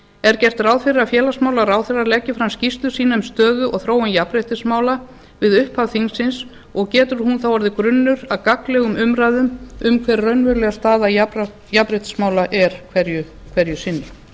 er gert ráð fyrir að félagsmálaráðherra leggi fram skýrslu sína um stöðu og þróun jafnréttismála við upphaf þingsins og getur hún þá orðið grunnur að gagnlegum umræðum um hver raunveruleg staða jafnréttismála er hverju sinni þá vil